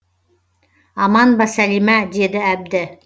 аман ба сәлима деді әбді